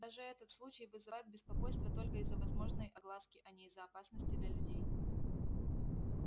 даже этот случай вызывает беспокойство только из-за возможной огласки а не из-за опасности для людей